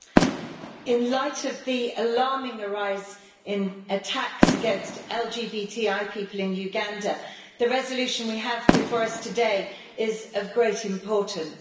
Mr President, in light of the alarming rise in attacks against LGBTI people in Uganda, the resolution we have before us today is of great importance.